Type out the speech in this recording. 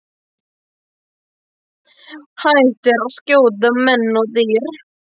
Hættir að skjóta á menn og dýr.